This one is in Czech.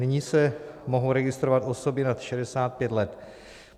Nyní se mohou registrovat osoby nad 65 let.